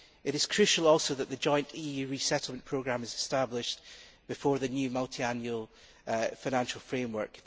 It is crucial also that the joint EU resettlement programme is established before the new multiannual financial framework.